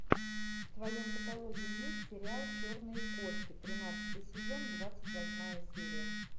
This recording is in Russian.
в твоем каталоге есть сериал черные кошки тринадцатый сезон двадцать восьмая серия